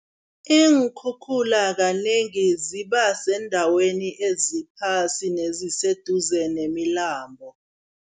Iinkhukhula kanengi zibasendaweni eziphasi neziseduze nemilambo.